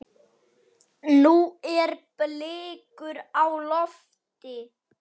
Nú eru blikur á lofti.